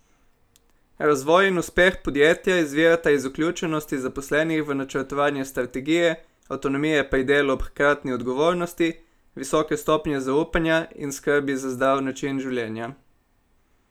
Razvoj in uspeh podjetja izvirata iz vključenosti zaposlenih v načrtovanje strategije, avtonomije pri delu ob hkratni odgovornosti, visoke stopnje zaupanja in skrbi za zdrav način življenja.